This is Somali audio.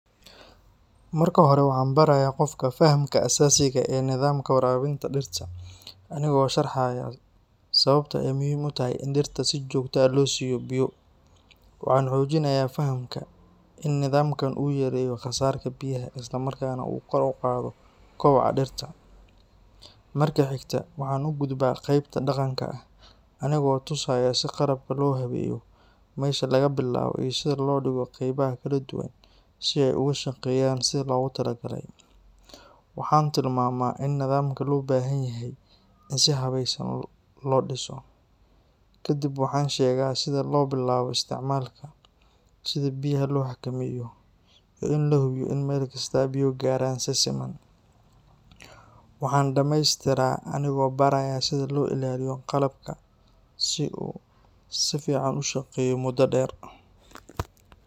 Marka hore waxaan barayaa qofka fahamka aasaasiga ah ee nidaamka waraabinta dhirta, anigoo sharxaya sababta ay muhiim u tahay in dhirta si joogto ah loo siiyo biyo. Waxaan xoojinayaa fahamka in nidaamkaan uu yareeyo khasaarka biyaha isla markaana uu kor u qaado koboca dhirta. Marka xigta, waxaan u gudbaa qeybta dhaqanka ah, anigoo tusaya sida qalabka loo habeeyo, meesha laga bilaabo iyo sida loo dhigo qaybaha kala duwan si ay uga shaqeeyaan sidii loogu talagalay. Waxaan tilmaamaa in nidaamka loo baahan yahay in si habeysan loo dhiso. Kadib waxaan u sheegaa sida loo bilaabo isticmaalka, sida biyaha loo xakameeyo, iyo in la hubiyo in meel kasta biyo gaaraan si siman. Waxaan dhameystiraa anigoo baraya sida loo ilaaliyo qalabka si uu si fiican u shaqeeyo muddo dheer.